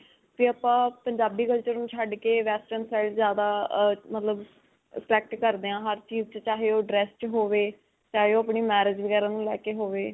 'ਤੇ ਆਪਾਂ ਪੰਜਾਬੀ culture ਨੂੰ ਛੱਡ ਕੇ, western side ਜਿਆਦਾ ਅਅ ਮਤਲਬ attract ਕਰਦੇ ਹਾਂ. ਹਰ ਚੀਜ਼ 'ਚ ਚਾਹੇ ਉਹ dress 'ਚ ਹੋਵੇ, ਚਾਹੇ ਉਹ ਆਪਣੀ marriage ਵਗੈਰਾ ਨੂੰ ਲੈ ਕੇ ਹੋਵੇ